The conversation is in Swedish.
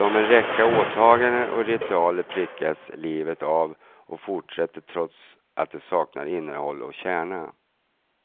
Som en räcka åtaganden och ritualer prickas livet av och fortsätter trots att det saknar innehåll och kärna.